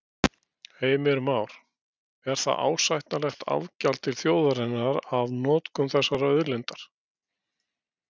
Heimir Már: Er það ásættanlegt afgjald til þjóðarinnar af notkun þessarar auðlindar?